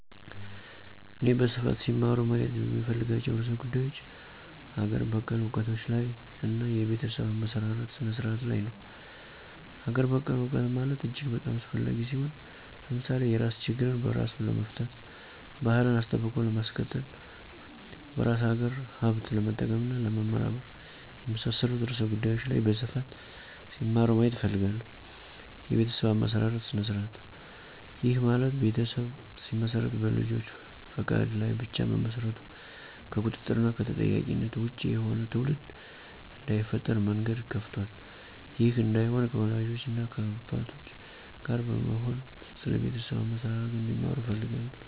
እኔ በስፋት ሲማሩ ማየት የምፈልጋቸው ርዕሰ ጉዳዮች አገር በቀል እውቀቶች ላይ እና የቤተሰብ አመሰራረት ስነ-ስርዓቱ ላይ ነው። -አገር በቀል እውቀት ማለት እጅግ በጣም አስፈላጊ ሲሆን። ለምሳሌ የራስ ችግርን በራስ ለመፍታት፣ ባህልን አስጠብቆ ለማስቀጠል፣ በራስ አገር ሀብት ለመጠቀም እና ለመመራመር፣ የመሳሠሉት ርዕሰ ጉዳዮች ላይ በስፋት ሲማሩ ማየት እፈልጋለሁ። -የቤተሠብ አመሠራርት ስነ-ስርዐቱ፦ ይህ ማለት ቤተሠብ ሲመሰረት በልጆች ፈቃድ ላይ ብቻ መመስረቱ ከቁጥጥር እና ከተጠያቂነት ወጭ የሆነ ትውልድ እዳይፈጠር መንገድ ከፍቷል። ይህ እዳይሆን ከወላጆች እና ከአባቶች ጋር በመሆን ስለ ቤተሠብ አመሠራርቱ እንዲማሩ እፈልጋለሁ